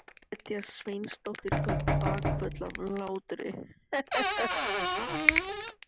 Gréta Sveinsdóttir tók bakföll af hlátri.